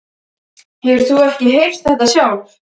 Hefur þú ekki heyrt þetta sjálf?